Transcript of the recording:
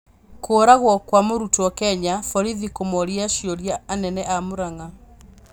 Kũragwo kwa mũrutwo Kenya: Vorithi kũmooria ciũria anene a Murang'a